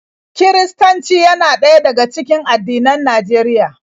Kiristanci yana ɗaya daga cikin addinan Najeriya.